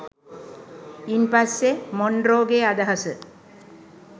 ඉන් පස්සෙ මොන්රෝගේ අදහස